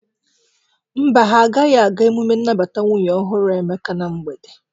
Mba, ha agaghị aga emume nnabata nwunye ọhụrụ Emeka na mgbede.